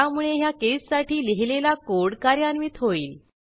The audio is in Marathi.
त्यामुळे ह्या केससाठी लिहिलेला कोड कार्यान्वित होईल